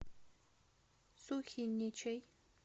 сухиничей